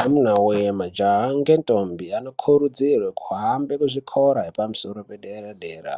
Amuna woye majaha ngendombi anokurudzirwe kuhambe kuzvikora zvepamusoro pedera dera .